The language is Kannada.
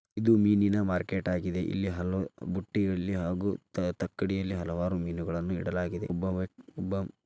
ಇದು ಮೀನಿನ ಮಾರ್ಕೆಟ್ ಆಗಿದೆ .ಇಲ್ಲಿ ಹಲಬುಟ್ಟಿಯಲ್ಲಿ ಹಾಗೂ ತಕ್ಕಡಿಯಲ್ಲಿ ಹಲವಾರು ಮೀನುಗಳನ್ನು ಇಡಲಾಗಿದೆ .ಇಲ್ಲಿ ಒಬ್ಬ --